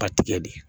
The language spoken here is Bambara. Ba tigɛ de